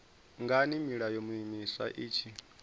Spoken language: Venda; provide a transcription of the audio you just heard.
ngani milayo miswa i tshi